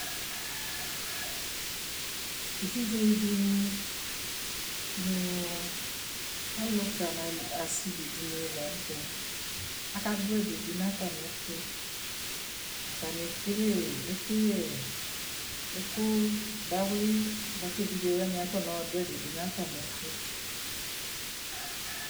Evidze dini nʋ alʋka nʋ asivi di ni la nʋ tɛ Akadʋ ɛdi dʋ nʋ atami ɛtʋ Atani ekele ɛkʋyɛ, ɛkʋdawli boa kʋ evidze wani akɔnɔ dʋ ɛdie dʋ nʋ atami ɛtʋ